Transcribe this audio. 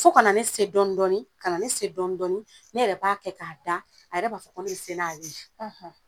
Fo kana ne se dɔndɔni kana ne ne dɔndɔni ne yɛrɛ b'a kɛ k'a da a yɛrɛ b'a fɔ ko ne be se n'ale ye .